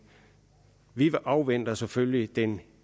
vi afventer selvfølgelig de